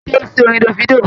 Ó ń jó sí orin Davido